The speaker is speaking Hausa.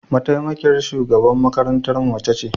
Mataimakiyar shugaban makarantarmu mace ce.